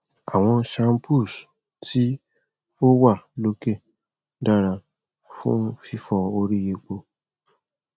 awọn shampoos ti o wa loke dara fun fifọ ori epo